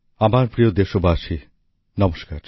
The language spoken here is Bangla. আমার প্রিয় দেশবাসী নমস্কার